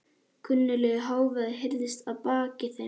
Kunnuglegur hávaði heyrðist að baki þeim.